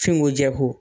Fingo jɛko